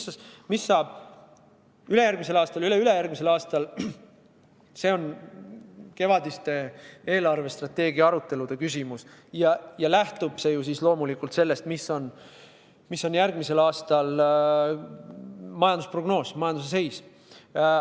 See, mis saab ülejärgmisel aastal ja üleülejärgmisel aastal, on kevadiste eelarvestrateegia arutelude küsimus ja lähtub loomulikult sellest, milline on järgmisel aastal majandusprognoos, majanduse seis.